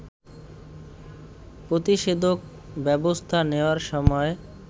প্রতিষেধক ব্যবস্থা নেয়ার সময়